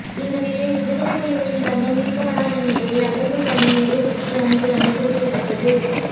இந்நிலையில் விடுதலைப் புலிகளின் தங்கம் மீட்கப்படாத நிலையில் அகழ்வு பணி நிறைவிற்கு வந்துள்ளமை குறிப்பிடத்தக்கது